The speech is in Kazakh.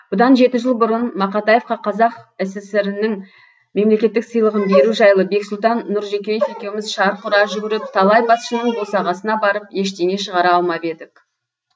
бұдан жеті жыл бұрын мақатаевқа қазақ сср інің мемлекеттік сыйлығын беру жайлы бексұлтан нұржекеев екеуміз шарқ ұра жүгіріп талай басшының босағасына барып ештеңе шығара алмап едік